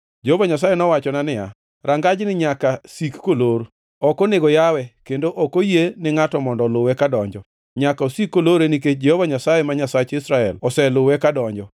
Jehova Nyasaye nowachona niya, “Rangajni nyaka sik kolor. Ok onego yawe, kendo ok oyie ni ngʼato mondo oluwe kadonjo. Nyaka osik kolore nikech Jehova Nyasaye, ma Nyasach Israel, oseluwe kadonjo.